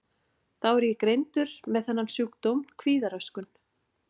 Þá er ég greindur með þennan sjúkdóm, kvíðaröskun.